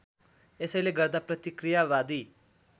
यसैले गर्दा प्रतिक्रियावादी